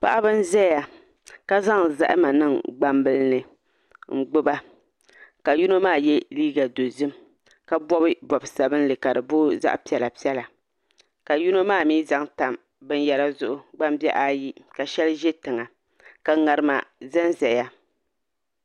Paɣaba n ʒɛya ka zaŋ zahama niŋ gbambihi ni n gbuba ka yino maa yɛ liiga dozim ka bob bob sabinli ka di booi zaɣ piɛla piɛla ka yino maa mii zaŋ tam binyɛra zuɣu gbambihi ayi ka shɛli ʒɛ tiŋa ka ŋarima ʒɛnʒɛya